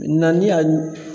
Na ni y'a